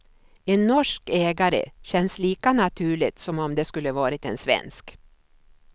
En norsk ägare känns lika naturligt som om det skulle varit en svensk.